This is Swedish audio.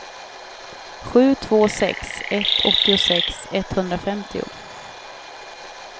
sju två sex ett åttiosex etthundrafemtio